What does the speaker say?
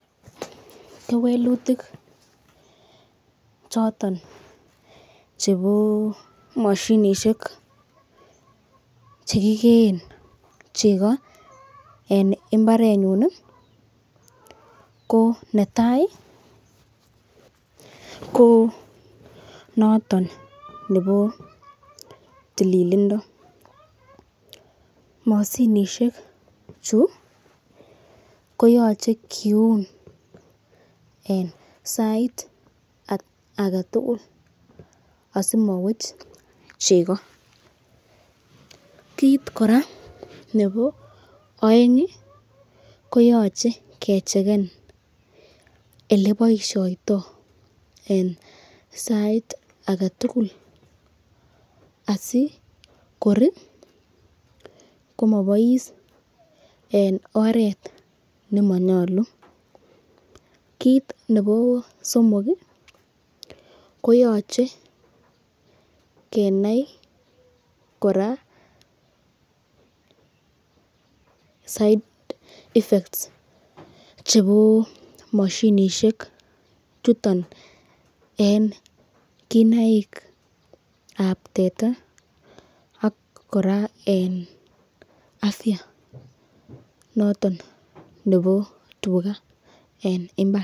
Kewelutik choton chebo moshinisiek che kigeen chego en mbarenyun ko netai ko notonnebo tililindo. Moshinisheju ko yoche kiun en sait agetugul asimowech chego. Kiit kora nebo oeng koyoche kechecken ole boisioito en sait age tugul asikor komobois en oret nemanyolu. Kit nebo somok koyoche kenai kora side effects chebo moshinishek chuton en kinaik ab teta ak kora en afya noton nebo tuga en mbar.